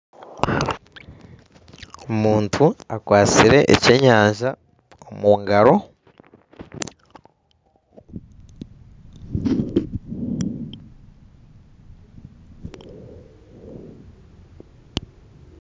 Omuntu akwatsire ekyenyanja omu ngaro.